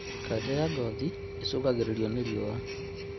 Kanja ya ngothi ĩcũngagĩrĩrio nĩ riũa